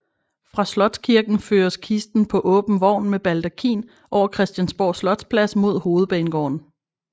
Fra Slotskirken føres kisten på åben vogn med baldakin over Christiansborg Slotsplads mod Hovedbanegården